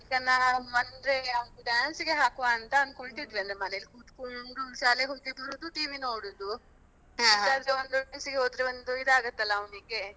ಈಗ ನಾವು ಅಂದ್ರೆ ಅವನ್ನ dance ಗೆ ಹಾಕುವ ಅಂತ ಅನ್ಕೋಳ್ತಿದ್ವೀ ಅಂದ್ರೆ ಮನೆಯಲ್ಲಿ ಕೂತ್ಕೊಂಡು ಶಾಲೆಗೆ ಹೋಗಿ ಬರುದು TV ನೋಡುದು. ಇದಾದ್ರೆ ಒಂದು dance ಗೆ ಹೋದ್ರೆ ಒಂದು ಇದಾಗುತ್ತಲ್ಲ ಅವನಿಗೆ.